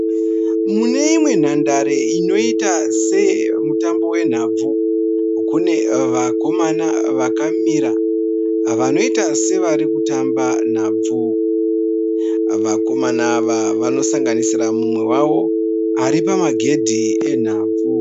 Muneimwe nhandare inoita seemutanbo wenhabvu. Kune vakomana vakamira vanoita sevarikutamba nhabvu. Vakomana ava vanosanganisira mumwe wavo ari pamagedhi enhabvu.